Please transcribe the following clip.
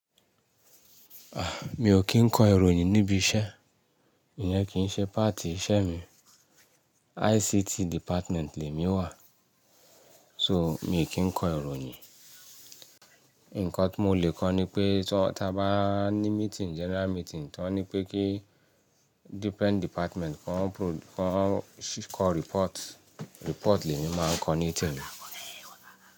Ah! Mi ò kí ń kọ ìròyìn níbi iṣẹ́, ìyẹn kì í ṣe páàtì iṣẹ́ mi. ICT department lè mi wà, so mi ò kí ń kọ ìròyìn. Ǹkọ́ tí mo lè kọ ni pé, tí wọ́n, ta bá ní meeting, general meeting, tí wọ́n ní pé kí different department kó kọ report, report lè mi máa ń kọ ní temi.